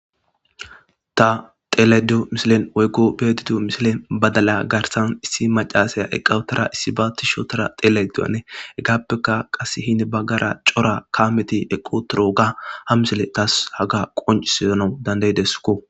Ta xeelayde diyo misile woykko be'ayde diyo misilen badala garsan issi macassiya eqqa utada issi ba tishi ootada Hegappe qassi hini bagara cora kaameti eqqi uttidooga ha misile tas haga qoncisanaw danda'ideskko